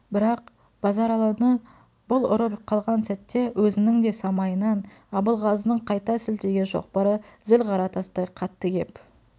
бірақ базаралыны бұл ұрып қалған сәтте өзінің де самайынан абылғазының қайта сілтеген шоқпары зіл қара тастай қатты кеп